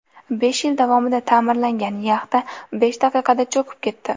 Besh yil davomida ta’mirlangan yaxta besh daqiqada cho‘kib ketdi .